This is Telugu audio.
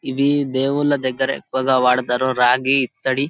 ఇవి దేవుళ్లు దెగర ఎక్కువుగా వాడుతారు రాగి ఇత్తడి.